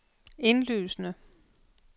indlysende